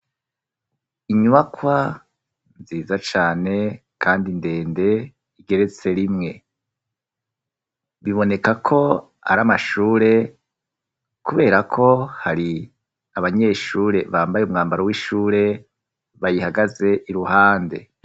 Inybakwa nziza cane kandi ndende igeretse rimwe. Biboneka ko ari amashure kubera ko hari abanyeshure bambaye umwambaro w'ishure bayihagaze iruhande.